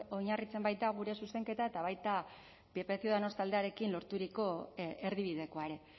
oinarritzen baita gure zuzenketa eta baita pp ciudadanos taldearekin lorturiko erdibidekoa ere